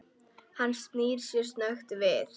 Hann snýr sér snöggt við.